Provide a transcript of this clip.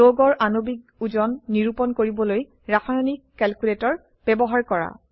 যৌগৰ আণবিক ওজন নিৰুপণ কৰিবলৈ ৰাসায়নিক ক্যালকুলেটৰ ব্যবহাৰ কৰা